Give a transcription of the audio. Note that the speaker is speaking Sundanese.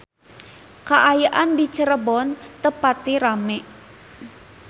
Kaayaan di Cirebon teu pati rame